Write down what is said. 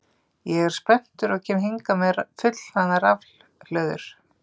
Ég er spenntur og kem hingað með fullhlaðnar rafhlöður.